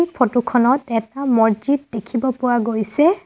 Photo খনত এটা মছজিদ দেখিব পোৱা গৈছে।